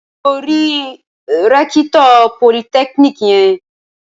Ṣé o rí rẹ́kítọ̀ politẹ́kíníkì yẹn?